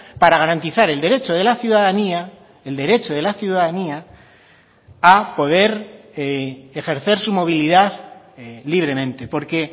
para garantizar el derecho de la ciudadanía el derecho de la ciudadanía a poder ejercer su movilidad libremente porque